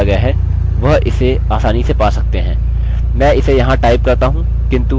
मैं इसे यहाँ टाइप करता हूँ किन्तु अब वह क्या है इसे पता करने में वह असक्षम होंगे क्योंकि वह एन्क्रिप्टेड है